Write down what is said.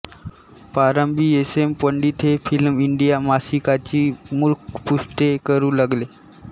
प्रारंभी S M Pandit हे film India मासिकाची मुखपृष्ठे करू लागले